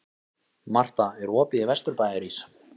Marta, er opið í Vesturbæjarís?